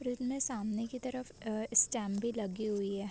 इतने सामने के तरफ अअअ स्टेम भी लगी हुई है।